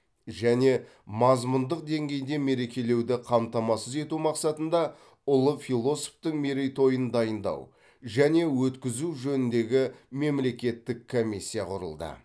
және мазмұндық деңгейде мерекелеуді қамтамасыз ету мақсатында ұлы философтың мерейтойын дайындау және өткізу жөніндегі мемлекеттік комиссия құрылды